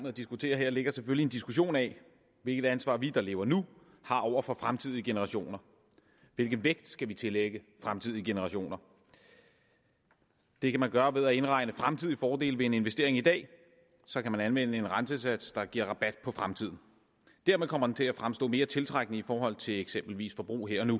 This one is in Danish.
at diskutere her ligger selvfølgelig en diskussion af hvilket ansvar vi der lever nu har over for fremtidige generationer hvilken vægt skal vi tillægge fremtidige generationer det kan man gøre ved at indregne fremtidige fordele ved en investering i dag så kan man anvende en rentesats der giver rabat på fremtiden dermed kommer den til at fremstå mere tiltrækkende i forhold til eksempelvis forbrug her og nu